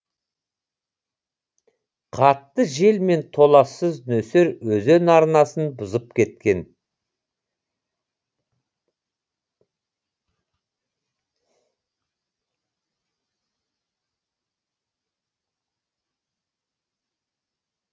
қатты жел мен толассыз нөсер өзен арнасын бұзып кеткен